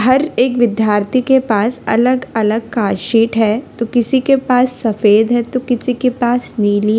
हर एक विद्यार्थी के पास अलग अलग का शीट है तो किसी के पास सफेद है तो किसी के पास नीली --